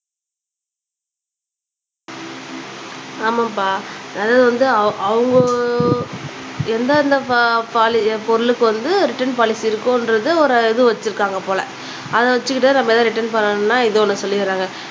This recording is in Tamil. ஆமாம்பா அது வந்து அவங்க எந்தெந்த பா பாலி பொருளுக்கு வந்து ரிட்டன் பாலிசி இருக்கும்ன்றது ஒரு இது வச்சுருக்காங்க போல அத வச்சுக்கிட்டே நம்ம எல்லாம் ரிட்டன் பண்ணணும்னா இத ஒண்ணூ சொல்லிடுறாங்க